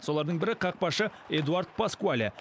солардың бірі қақпашы эдуард паскуале